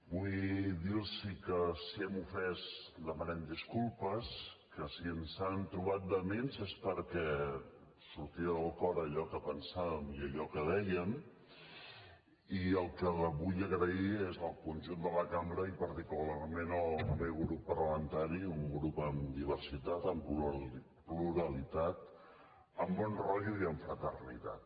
vull dir los que si hem ofès demanem disculpes que si ens han trobat vehements és perquè sortia del cor allò que pensàvem i allò que dèiem i el que vull és donar les gràcies al conjunt de la cambra i particularment al meu grup parlamentari un grup amb diversitat amb pluralitat amb bon rotllo i amb fraternitat